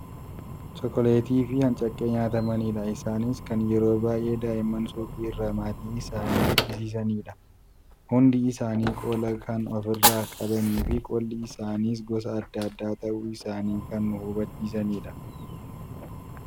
Chokkoleettiifi ancakkee nyaatamanidha. Isaanis kan yeroo baay'ee daa'imman suuqii irraa maatii isaanii bichisiisanidha. Hundi isaanii qola kan of irraa qabaniifi qolli isaaniis gosa adda addaa ta'uu isaanii kan nu hubachiisudha.